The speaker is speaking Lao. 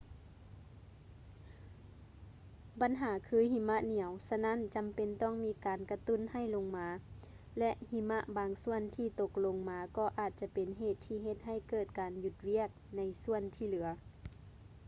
ບັນຫາຄືຫິມະໜຽວ ສະນັ້ນຈຳເປັນຕ້ອງມີການກະຕຸ້ນໃຫ້ລົງມາ ແລະ ຫິມະບາງສ່ວນທີ່ຕົກລົງມາກໍອາດຈະເປັນເຫດທີ່ເຮັດໃຫ້ເກີດການຢຸດວຽກໃນສ່ວນທີ່ເຫຼືອ